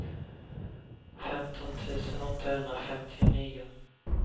femton tusen åttahundrafemtionio